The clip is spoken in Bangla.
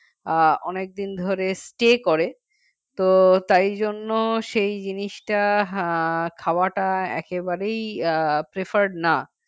আ অনেকদিন ধরেই stay করে তো তাই জন্য সেই জিনিসটা উম খাওয়াটা একেবারেই preferred না